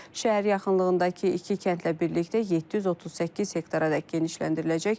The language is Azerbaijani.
Şəhər yaxınlığındakı iki kəndlə birlikdə 738 hektaradək genişləndiriləcək.